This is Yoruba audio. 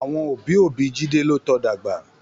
Àwọn òbí òbí Jide ló tọ dàgbà